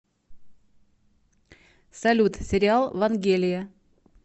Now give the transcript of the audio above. салют сериал вангелия